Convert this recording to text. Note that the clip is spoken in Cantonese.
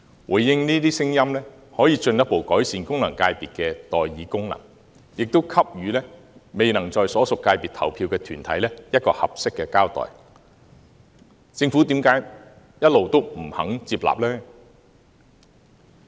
回應這些聲音，可以進一步改善功能界別的代議功能，也給予未能在所屬界別投票的團體一個合適的交代，政府為何一直不肯接納呢？